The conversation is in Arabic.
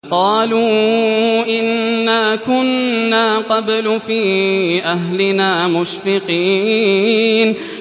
قَالُوا إِنَّا كُنَّا قَبْلُ فِي أَهْلِنَا مُشْفِقِينَ